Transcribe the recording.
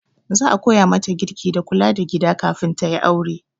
Za a koya mata girki da kula da gida kafin ta yi aure.